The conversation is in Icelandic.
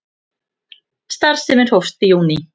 Starfsemin hófst í júní